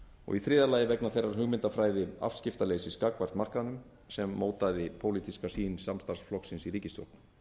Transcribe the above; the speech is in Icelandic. og í þriðja lagi vegna þeirrar hugmyndafræði afskiptaleysis gagnvart markaðnum sem mótaði pólitíska sýn samstarfsflokksins í ríkisstjórn